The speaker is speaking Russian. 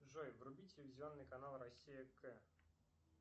джой вруби телевизионный канал россия к